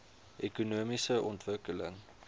ekonomiese ontwikkeling